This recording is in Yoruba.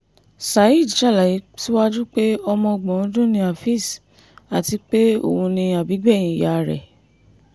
saheed ṣàlàyé síwájú pé ọmọ ọgbọ̀n ọdún ni áfẹ́ez àti pé òun ni àbígbẹ̀yìn ìyá rẹ̀